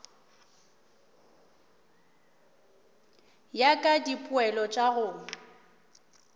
ya ka dipoelo tša go